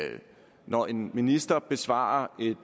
når en minister besvarer et